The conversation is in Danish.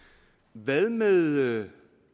hvad med